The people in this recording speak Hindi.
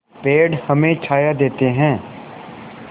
पेड़ हमें छाया देते हैं